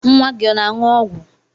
Nwa gị ọ na-aṅụ ọgwụ?